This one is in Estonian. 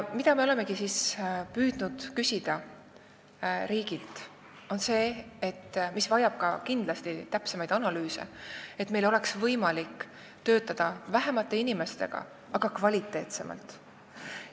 Me olemegi püüdnud küsida riigilt seda, et meil oleks võimalik töötada vähema arvu inimestega, aga kvaliteetsemalt.